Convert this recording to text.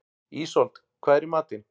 Ísold, hvað er í matinn?